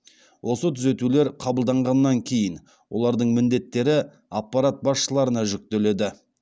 осы түзетулер қабылданғаннан кейін олардың міндеттері аппарат басшыларына жүктеледі